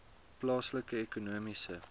plaaslike ekonomiese